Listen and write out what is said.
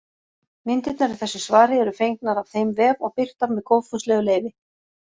Myndirnar í þessu svari eru fengnar af þeim vef og birtar með góðfúslegu leyfi.